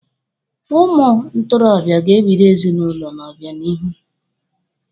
Ụmụ ntorobịa ga-ebido ezinụlọ n'obịanihu.